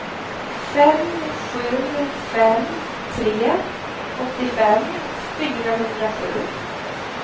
fem sju fem tre åttiofem fyrahundrasju